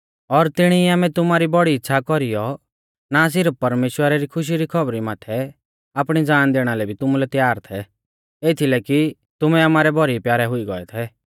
और तिणी ई आमै तुमारी बौड़ी इच़्छ़ा कौरीयौ ना सिरफ परमेश्‍वरा री खुशखुशी री खौबरी माथै आपणी ज़ान दैणा लै भी तुमुलै तैयार थै एथलै कि तुमै आमारै भौरी प्यारै हुई गोऐ थै